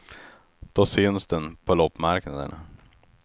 Då syns den, på loppmarknaderna.